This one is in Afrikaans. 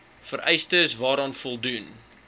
vereistes waaraan voldoen